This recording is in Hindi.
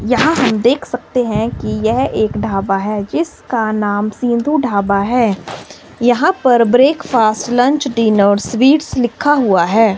यहा हम देख सकते हैं कि यह एक ढाबा है जिसका नाम सिंधु ढाबा है यहां पर ब्रेकफास्ट लंच डीनर स्वीट्स लिखा हुआ है।